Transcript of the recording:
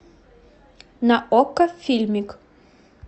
на окко фильмик